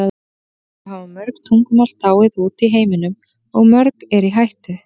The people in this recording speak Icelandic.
Vissulega hafa mörg tungumál dáið út í heiminum og mörg eru í hættu.